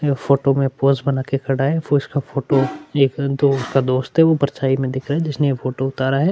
यह फोटो में पोज़ बना के खड़ा हैं पोज़ का फोटो एक जो उनका दोस्त है परछाई में दिख रहा है जिसने ये फोटो उतारा है।